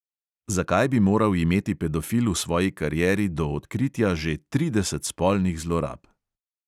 Zakaj bi moral imeti pedofil v svoji karieri do odkritja že trideset spolnih zlorab?